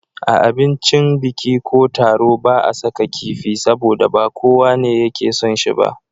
A abincin biki ko taro ba a saka kifi, saboda ba kowane yake son shi ba.